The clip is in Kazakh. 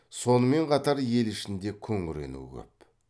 сонымен қатар ел ішінде күңірену көп